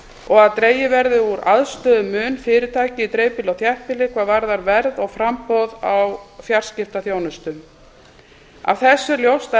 og að dregið verði úr aðstöðumun fyrirtækja í dreifbýli og þéttbýli hvað varðar verð og framboð á fjarskiptaþjónustu af þessu er ljóst að